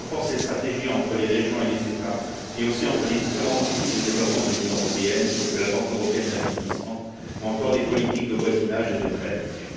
Elle renforce les stratégies entre les régions et les États et aussi entre les différents outils de développement de l'Union, tels que la Banque européenne d'investissement ou encore les politiques de voisinage et de préadhésion.